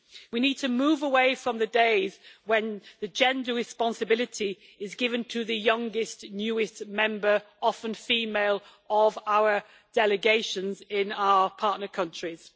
We need to move away from the days when the gender responsibility was given to the youngest, newest member often female of our delegations in our partner countries.